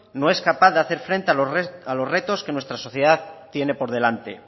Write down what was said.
no es capaz de hacer frente a los restos que nuestra sociedad tiene por delante